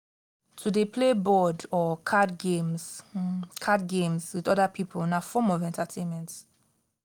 to de play board or card games card games with other pipo na form of entertainment